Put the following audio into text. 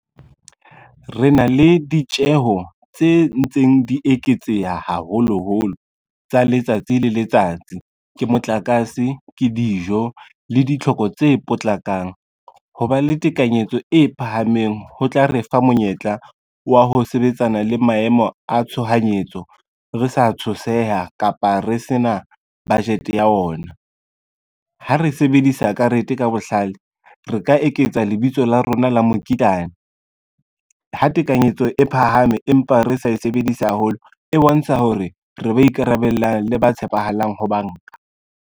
Re na le ditjeho tse ntseng di eketseha haholoholo tsa letsatsi le letsatsi, ke motlakase, ke dijo le ditlhoko tse potlakang. Ho ba le tekanyetso e phahameng, ho tla re fa monyetla wa ho sebetsana le maemo a tshohanyetso, re sa tshoseha kapa re se na budget ya ona. Ha re sebedisa karete ka bohlale, re ka eketsa lebitso la rona la mokitlane, ha tekanyetso e phahame, empa re sa e sebedise haholo, e bontsha hore re ba ikarabellang le ba tshepahalang ho banka.